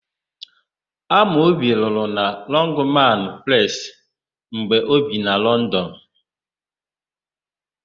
Amobi rụrụ na Lọngmanụ Presị mgbe o bi na Lọndọnụ.